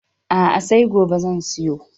A'a, sai gobe zan siyo.